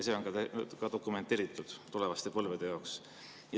See on ka dokumenteeritud tulevaste põlvede jaoks.